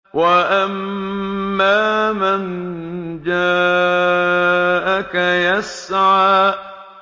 وَأَمَّا مَن جَاءَكَ يَسْعَىٰ